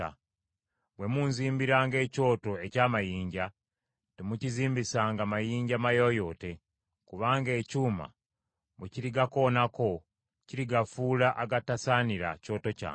Bwe munzimbiranga ekyoto eky’amayinja, temukizimbisanga mayinja mayooyoote, kubanga ekyuma bwe kirigakoonako kirigafuula agatasaanira kyoto kyange.